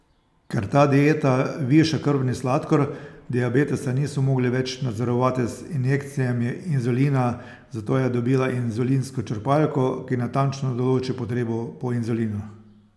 Ker ta dieta viša krvni sladkor, diabetesa niso mogli več nadzorovati z injekcijami inzulina, zato je dobila inzulinsko črpalko, ki natančno določi potrebo po inzulinu.